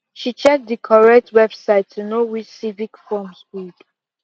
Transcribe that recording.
she check the correct website to know which civic forms good